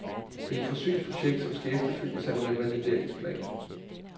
Det er et forsøgsprojekt, som skal efterfølges af en revalideringsplan.